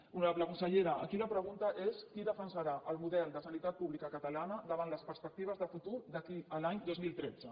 honorable consellera aquí la pregunta és qui defensarà el model de sanitat pública catalana davant les perspectives de futur d’aquí a l’any dos mil tretze